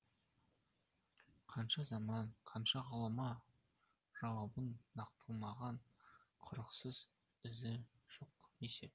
қанша заман қанша ғұлама жауабын нақтыламаған құрықсыз ізі жоқ есеп